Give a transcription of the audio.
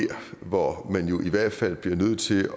hvor man jo i hvert fald bliver nødt til